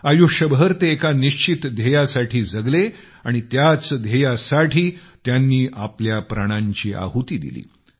आयुष्यभर ते एका निश्चित ध्येयासाठी जगले आणि त्याच ध्येयासाठी त्यांनी आपल्या प्राणांची आहुती दिली